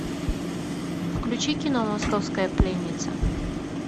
включи кино московская пленница